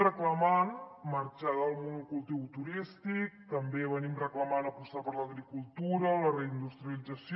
reclamem marxar del monocultiu turístic també reclamem apostar per l’agricultura la reindustrialització